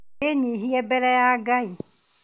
Wĩnyihie mbere ya Ngai